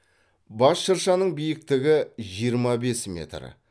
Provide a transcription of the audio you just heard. бас шыршаның биіктігі жиырма бес метр